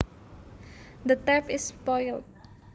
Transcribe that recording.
The tap is spoiled